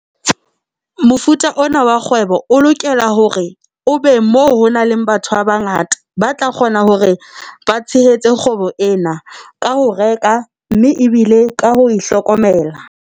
Mofuta ona wa kgwebo o lokela hore o be moo honang le batho ba bangata, ba tla kgona hore ba tshehetse kgwebo ena ka ho reka, mme ebile ka ho hlokomela.